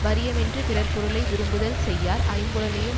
வறிய மென்று பிறர்பொருளை விரும்புதல் செய்யார் ஐம்புலனையும்